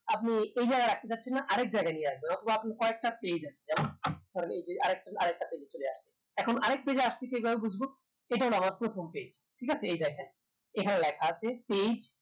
আপনি এই জায়গায় রাখতে চাচ্ছেন না আরেক জায়গায় নিয়ে আসবেন অথবা আপনি কয়েকটা page আছে যেমন ধরেন এইযে আরেকটা page এ চলে আসছে এখন আরেক page এ আসছে কিভাবে বুজবো এটা হলো আমার প্রথম page ঠিক আছে এই দেখেন এখানে লেখা আছে page